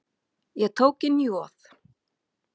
Ég tók inn Joð.